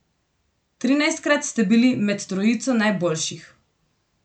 Trinajstkrat ste bili med trojico najboljših.